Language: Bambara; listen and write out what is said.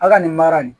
A ka nin mara nin